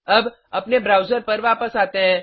अब अपने ब्राउज़र पर वापस आते हैं